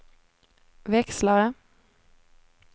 växlare